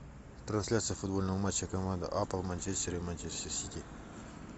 трансляция футбольного матча команд апл манчестер и манчестер сити